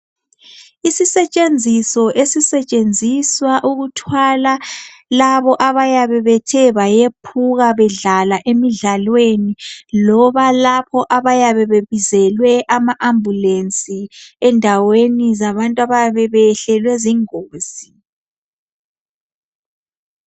Isisetshenziso esisetshenziswa ukuthwala labo abayabe bethe bayephuka bedlala emidlalweni loba lapho abayabe bebizelwe ama ambulance endaweni zabantu abayabe beyehlelwe zingozi